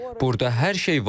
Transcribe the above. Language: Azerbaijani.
Burada hər şey var.